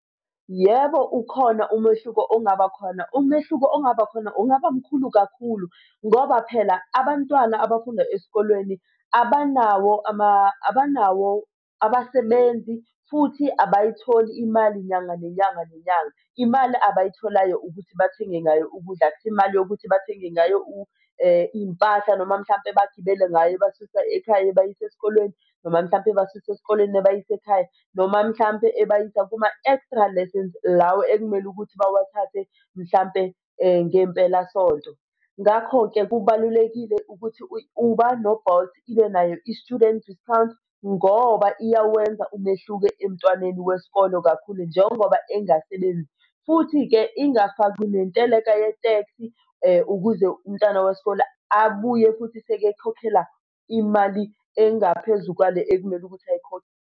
Yebo, ukhona umehluko ongaba khona. Umehluko ongaba khona ungaba mkhulu kakhulu ngoba phela abantwana abafunda esikolweni abanawo abanawo abasebenzi futhi abayitholi imali nyanga, nenyanga, nenyanga. Imali abayitholayo ukuthi bathenge ngayo ukudla akusiyo imali yokuthi bathenge ngayo iy'mpahla noma mhlampe bagibele ngayo ibasusa ekhaya ibayise esikolweni, noma mhlampe ibasuse esikoleni ibayise ekhaya, noma mhlampe ibayise kuma-extra lessons lawo okumele ukuthi bawathathe mhlampe ngempelasonto. Ngakho-ke kubalulekile ukuthi i-Uber no-Bolt ibe nayo i-student discount ngoba iyawenza umehluko emntwaneni wesikolo kakhulu njengoba engasebenzi. Futhi-ke ingafakwi nenteleka ye-tax-i ukuze umntwana wesikole abuye futhi sekekhokhela imali engaphezu kwale ekumele ukuthi ayikhokhe.